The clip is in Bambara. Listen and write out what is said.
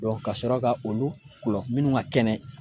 kasɔrɔ ka olu minnu ka kɛnɛ